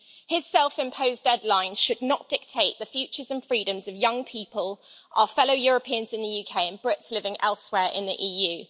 His self imposed deadline should not dictate the futures and freedoms of young people, our fellow Europeans in the UK, and Brits living elsewhere in the EU.